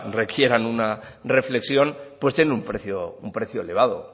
requieran una reflexión pues tienen un precio elevado